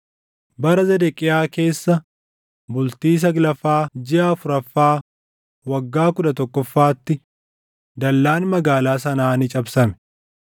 Bara Zedeqiyaa keessa bultii saglaffaa jiʼa afuraffaa waggaa kudha tokkoffaatti, dallaan magaalaa sanaa ni cabsame.